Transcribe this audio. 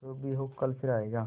जो भी हो कल फिर आएगा